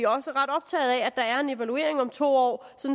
også ret optaget af at der er en evaluering om to år